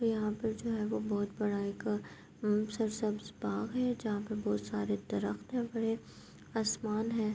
یہانا پی جو ہے وو بھوت بڑا ایک پارک ہے۔ جہاں پی بھوت سارے درخت ہے بڑے، آسمان ہے۔